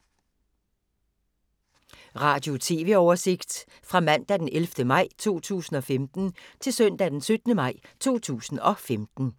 Radio/TV oversigt fra mandag d. 11. maj 2015 til søndag d. 17. maj 2015